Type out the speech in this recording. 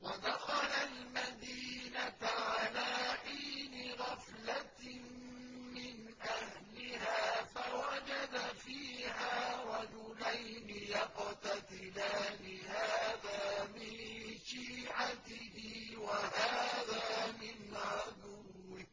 وَدَخَلَ الْمَدِينَةَ عَلَىٰ حِينِ غَفْلَةٍ مِّنْ أَهْلِهَا فَوَجَدَ فِيهَا رَجُلَيْنِ يَقْتَتِلَانِ هَٰذَا مِن شِيعَتِهِ وَهَٰذَا مِنْ عَدُوِّهِ ۖ